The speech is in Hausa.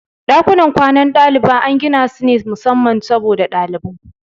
Dakunan kwanan ɗaliba an ginasu ne musamman saboda ɗalibai.